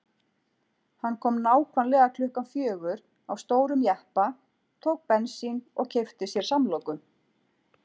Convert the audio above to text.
Hann kom nákvæmlega klukkan fjögur á stórum jeppa, tók bensín og keypti sér samloku.